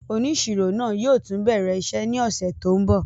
Oniṣiro naa yóò tun bẹrẹ iṣẹ ni ọsẹ to nbọ.